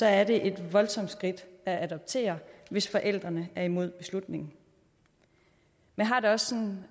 er det et voldsomt skridt at adoptere hvis forældrene er imod beslutningen jeg har det også